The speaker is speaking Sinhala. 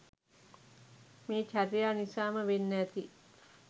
මේ චර්යා නිසාම වෙන්න ඇති